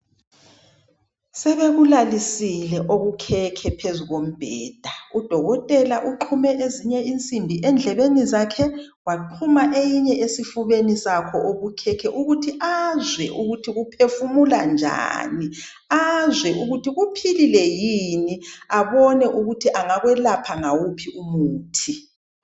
Sebekulalisile okukhekhe phezu kombheda udokotela uxhume zinye insimbi endlebeni zakhe waxhuma eyinye esifubeni sakhe okukhekhe ukuthi azwe ukuthi kuphefumula njani azwe ukuthi kuphilile yini abone ukuthi angakwelapha ngawuphi umuthi.